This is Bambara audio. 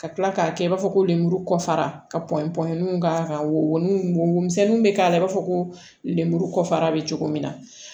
Ka tila k'a kɛ i b'a fɔ ko lemuru kɔfɛ ka pɔ pɔɔniw k'a kan wo womisɛnninw bɛ k'a la i b'a fɔ ko lemuru kɔfɛ a bɛ cogo min na